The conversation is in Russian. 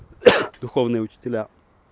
духовные учителя